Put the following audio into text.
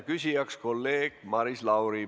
Küsib kolleeg Maris Lauri.